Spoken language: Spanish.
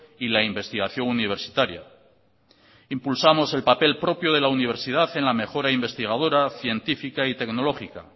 y la investigación universitaria impulsamos el papel propio de la universidad en la mejora investigadora científica y tecnológica